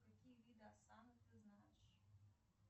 какие виды осанок ты знаешь